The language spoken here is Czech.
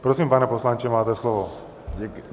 Prosím, pane poslanče, máte slovo.